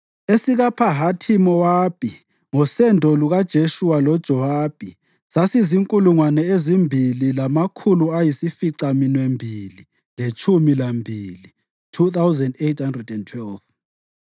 esikaPhahathi-Mowabi (ngosendo lukaJeshuwa loJowabi) sasizinkulungwane ezimbili lamakhulu ayisificaminwembili letshumi lambili (2,812),